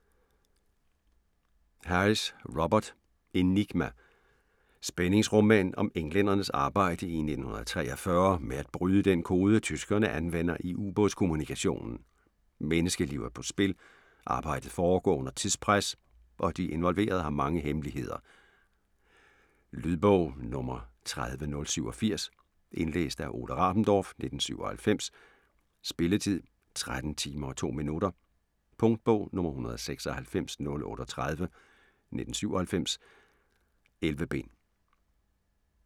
Harris, Robert: Enigma Spændingsroman om englændernes arbejde i 1943 med at bryde den kode tyskerne anvender i u-bådskommunikationen. Menneskeliv er på spil, arbejdet foregår under tidspres og de involverede har mange hemmeligheder. Lydbog 30087 Indlæst af Ole Rabendorf, 1997. Spilletid: 13 timer, 2 minutter. Punktbog 196038 1997. 11 bind.